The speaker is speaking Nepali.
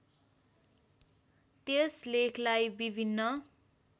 त्यस लेखलाई विभिन्न